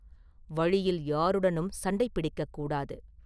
வழியில் யாருடனும் சண்டை பிடிக்க கூடாது.